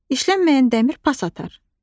İşlənməyən dəmir pas atar.